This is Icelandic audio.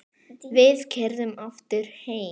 Við keyrðum aftur heim.